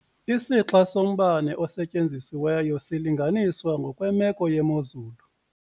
Isixa sombane osetyenzisiweyo silinganiswa ngokwemeko yemozulu.